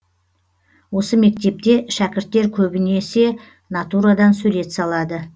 осы мектепте шәкірттер көбінесе натурадан сурет салады